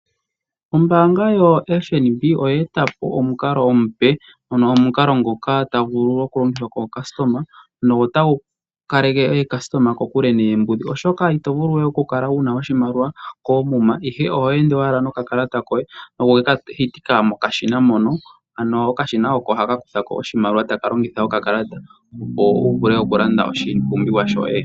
Ombaanga yo FNB oye etapo omukalo omupe. Ano omukalo ngoka tagu vulu oku longithwa kaayakulwa notagu kaleke aayakulwa kokule noombidhi oshoka itoka wuna we oshimaliwa koomuma. Ihe oho ende owala nokakalata koye ngoye ohokeka hitika mokashina mono. Ano okashina oko haka kuthako oshimaliwa kokakalata ngoye wu vule oku landa oshipumbiwa yoye.